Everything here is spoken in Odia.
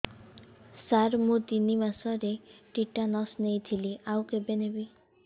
ସାର ମୁ ତିନି ମାସରେ ଟିଟାନସ ନେଇଥିଲି ଆଉ କେବେ ନେବି